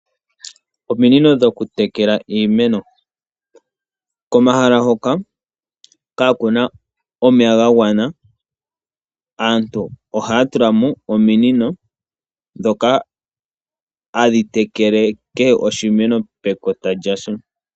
Ominino dhoku tekela iimeno, komahala hoka kaa kuna omeya ga gwana aantu ohaya tulamo ominino dhoka hadhi tekele kehe oshimeno pekota lyasho.